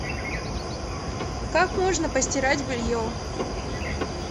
как можно постирать белье